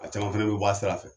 A caman fɛnɛ bɛ bɔ a sira fɛ.